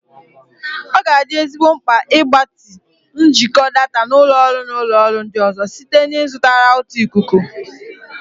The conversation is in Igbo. Ọ ga-adị ezigbo mkpa ịgbatị njikọ data na ụlọ ọrụ na ụlọ ọrụ ndị ọzọ site na ịzụta rawụta ikuku.